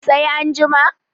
sai an jima?